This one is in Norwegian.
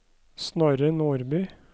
Snorre Nordby